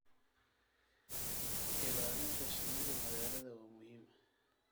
Ilaalinta shinnida magaalada waa muhiim.